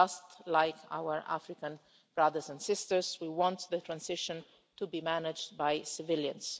And, just like our African brothers and sisters, we want the transition to be managed by civilians.